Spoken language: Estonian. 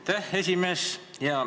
Aitäh, esimees!